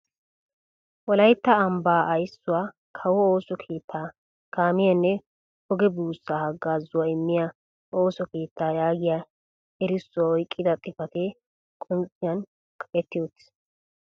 'Wolaytta ambbaa ayssuwaa kawo ooso keettaa kaamiyanne ogee buussa hagazzuwaa immiyaa ooso keettaa' yaagiyaa erissuwaa oyqqida xifatee qoncciyaan kaqetti uttiis.